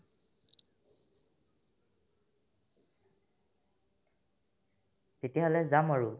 তেতিয়াহ'লে যাম আৰু